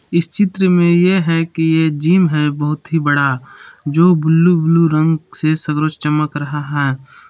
इस चित्र में ये है कि ये जीम है बहुत ही बड़ा जो ब्लू ब्लू रंग से सगरो चमक रहा है।